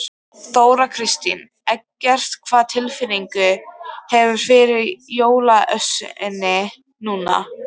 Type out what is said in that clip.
Þóra Kristín: Eggert, hvaða tilfinningu hefurðu fyrir jólaösinni núna?